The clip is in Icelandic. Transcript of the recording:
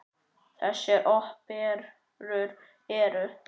Þessar óperur eru